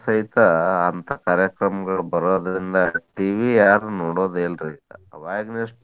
ಸಹಿತ ಅಂತಾ ಕಾರ್ಯಕ್ರಮಗಳ್ ಬರೋದ್ರಿಂದ್ TV ಯಾರು ನೋಡೋದೇ ಇಲ್ರಿ ಈಗ. ಅವಗಿನಷ್ಟು